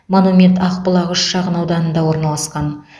монумент ақбұлақ үш шағын ауданында орналасқан